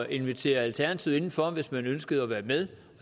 invitere alternativet indenfor hvis man ønskede at være med